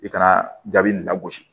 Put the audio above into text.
I ka jaabi nin lagosi